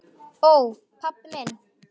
Ó, pabbi minn.